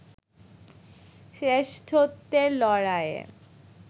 শ্রেষ্ঠত্বের লড়াইয়ে